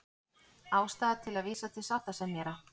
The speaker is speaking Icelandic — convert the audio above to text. Ástæða til að vísa til sáttasemjara